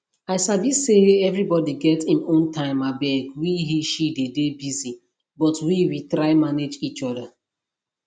i sabi say everybody get im own time abeg we heshe dey dey busy but we we try manage each other